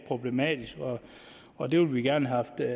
problematisk og det vil vi gerne have